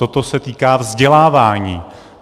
Toto se týká vzdělávání.